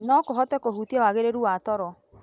No kũhote kũhutia wagĩrĩru wa toro.